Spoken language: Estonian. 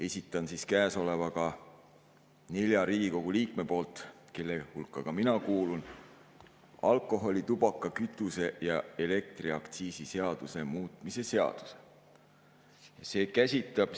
Esitan käesolevaga nelja Riigikogu liikme poolt, kelle hulka ka mina kuulun, alkoholi‑, tubaka‑, kütuse‑ ja elektriaktsiisi seaduse muutmise seaduse.